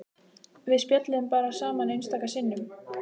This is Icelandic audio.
Við spjölluðum bara saman einstaka sinnum.